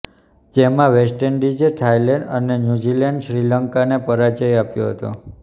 જેમાં વેસ્ટ ઈન્ડિઝે થાઈલેન્ડ અને ન્યૂઝીલેન્ડે શ્રીલંકાને પરાજય આપ્યો હતો